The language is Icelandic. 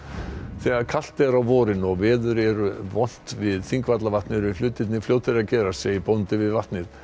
þegar kalt er á vorin og veður er vont við Þingvallavatn eru hlutirnir fljótir að gerast segir bóndi við vatnið